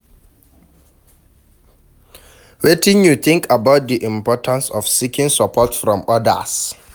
Wetin you think about di importance of seeking support from odas?